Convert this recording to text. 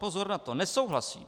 Pozor na to, nesouhlasím!